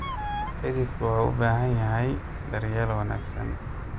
Xididku wuxuu u baahan yahay daryeel wanaagsan.